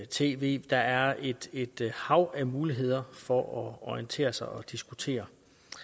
tv der er et et hav af muligheder for at orientere sig og diskutere